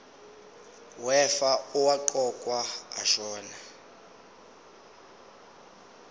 wefa owaqokwa ashona